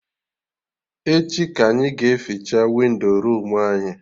Echi ka anyị ga eficha windo room anyị